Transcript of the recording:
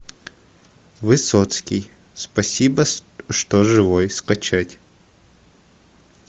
высоцкий спасибо что живой скачать